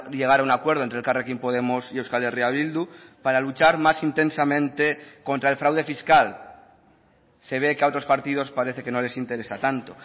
llegar a un acuerdo entre elkarrekin podemos y euskal herria bildu para luchar más intensamente contra el fraude fiscal se ve que a otros partidos parece que no les interesa tanto